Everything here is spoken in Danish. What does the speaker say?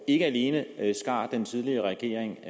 ikke alene skar den tidligere regering